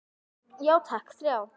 Já takk, þrjá.